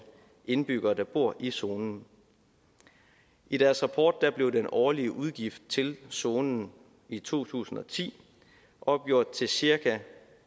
indbyggere der bor i zonen i deres rapport blev den årlige udgift til zonen i to tusind og ti opgjort til cirka